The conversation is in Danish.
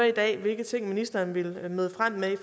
hvilke ting ministeren vil møde frem med i